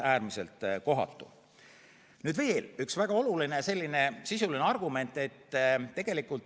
Nüüd veel üks väga oluline sisuline argument.